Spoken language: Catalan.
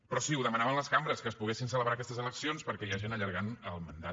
però sí ho demanaven les cambres que es poguessin celebrar aquestes eleccions perquè hi ha gent que allarga el mandat